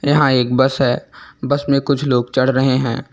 यहां एक बस है बस में कुछ लोग चढ़ रहे हैं।